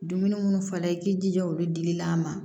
Dumuni munnu fɔla i k'i jija olu dili la a ma